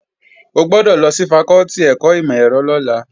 O gbọ́dọ̀ lọ sí fakọ́tì ẹ̀kọ́ ìmọ̀-ẹ̀rọ lọ́la!